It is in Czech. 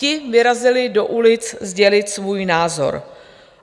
Ti vyrazili do ulic sdělit svůj názor.